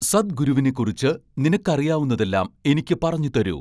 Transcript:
സദ്ഗുരുവിനെക്കുറിച്ച് നിനക്കറിയാവുന്നതെല്ലാം എനിക്ക് പറഞ്ഞു തരൂ